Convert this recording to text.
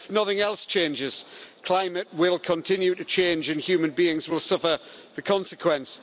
But, if nothing else changes, climate will continue to change and human beings will suffer the consequence.